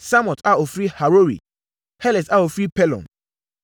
Samot a ɔfiri Harori; Heles a ɔfiri Pelon;